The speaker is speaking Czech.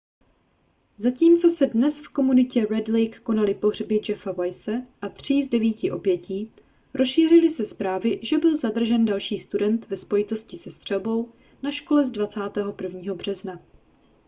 zatímco se dnes v komunitě red lake konaly pohřby jeffa weise a tří z devíti obětí rozšířily se zprávy že byl zadržen další student ve spojitosti se střelbou na škole z 21. března